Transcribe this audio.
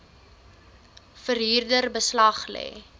verhuurder beslag lê